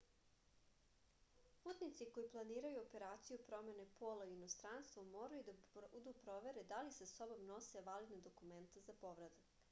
putnici koji planiraju operaciju promene pola u inostranstvu moraju da budu provere da li sa sobom nose validna dokumenta za povratak